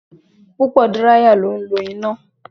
Púpò díráíyà ni ó ń lọ ina